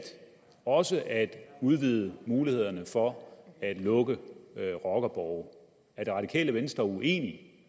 også at udvide muligheden for at lukke rockerborge er det radikale venstre uenig